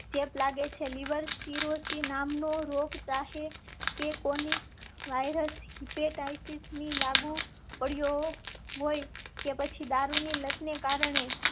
ચેપ લાગે છે. લિવર સિરોસિસ નામનો રોગ ચાહે કેકોની વાયરસ? લાગુ પડ્યો કે પછી દારૂ ની લત ને કારણે